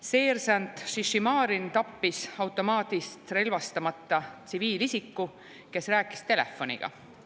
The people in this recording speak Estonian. Seersant Šišimarin tappis automaadist relvastamata tsiviilisiku, kes rääkis telefoniga.